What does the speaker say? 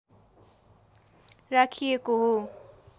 राखिएको हो